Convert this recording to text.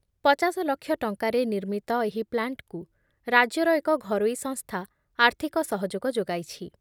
ପଚାଶ ଲକ୍ଷ ଟଙ୍କାରେ ନିର୍ମିତ ଏହି ପ୍ଲାଣ୍ଟକୁ ରାଜ୍ୟର ଏକ ଘରୋଇ ସଂସ୍ଥା ଆର୍ଥିକ ସହଯୋଗ ଯୋଗାଇଛି ।